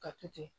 Ka to ten